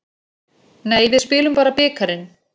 Nei, við spilum bara bikarinn.